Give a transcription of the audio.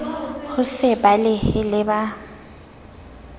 ho se balehe le ha